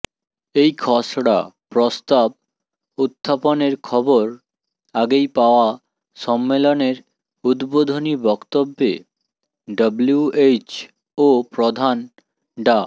এই খসড়া প্রস্তাব উত্থাপনের খবর আগেই পাওয়ায় সম্মেলনের উদ্বোধনী বক্তব্যে ডব্লিউএইচও প্রধান ডা